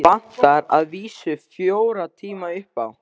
Vantar að vísu fjóra tíma upp á.